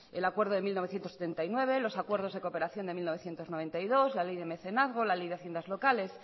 el acuerdo de mil novecientos setenta y nueve los acuerdos de cooperación de mil novecientos noventa y dos la ley de mecenazgo la ley de haciendas locales